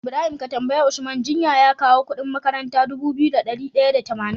Ibrahim ka tambayi usman jiya ya kawo Ƙudin makarantar Dubu biyu da dari daya da tamanin